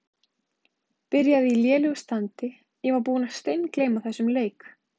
Byrjaði í lélegu standi Ég var búinn að steingleyma þessum leik.